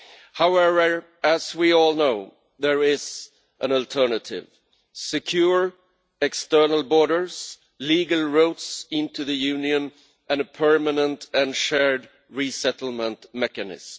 However, as we all know, there is an alternative secure external borders, legal roads into the Union and a permanent and shared resettlement mechanism.